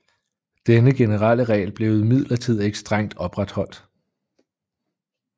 Denne generelle regel blev imidlertid ikke strengt opretholdt